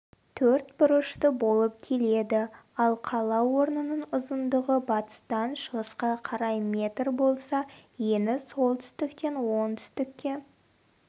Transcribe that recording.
төртбұрышты болып келеді ал қала орнының ұзындығы батыстан шығысқа қарай метр болса ені солтүстіктен оңтүстікке